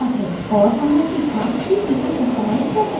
और हमने सीखा कि इसे customize कैसे करें